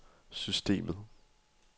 systemet